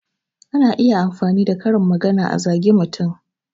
Ana iya amfani da karin magana a zage mutum